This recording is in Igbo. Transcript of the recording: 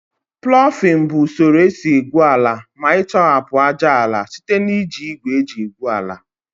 Plọfin bụ usoro esi egwu ala ma ịtọhapụ ájáala site na iji igwe eji egwu ala